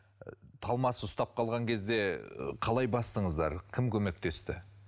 талмасы ұстап қалған кезде қалай бастыңыздар кім көмектесті